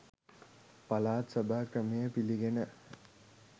පළාත් සභා ක්‍රමය පිළිගෙන